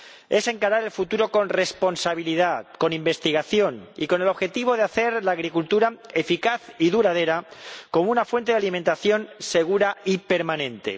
Es encarar el futuro con responsabilidad, con investigación y con el objetivo de hacer de la agricultura eficaz y duradera una fuente de alimentación segura y permanente.